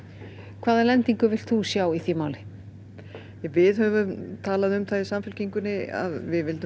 hvaða lendingu vilt þú sjá í því máli við höfum talað um það í Samfylkingunni að við viljum